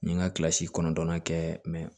N ye n ka kilasi kɔnɔntɔnnan kɛ